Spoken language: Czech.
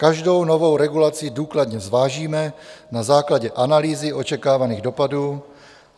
Každou novou regulaci důkladně zvážíme na základě analýzy očekávaných dopadů.